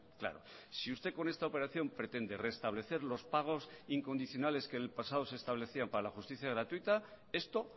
claro si usted con esta operación pretende restablecer los pagos incondicionales que el pasado se establecían para la justicia gratuita esto